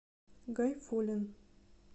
гайфуллин